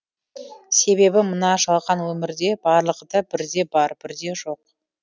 себебі мына жалған өмірде барлығыда бірде бар бірде жоқ